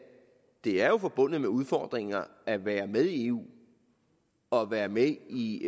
det er forbundet med udfordringer at være med i eu og være med i